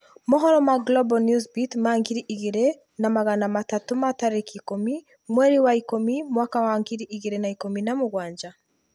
Mohoro ma Global Newsbeat ma ngiri igĩrĩ na magana matatũ ma tarĩki ikũmi, mweri wa ikũmi mwaka wa ngiri igĩrĩ na ikũmi na mũgwanja.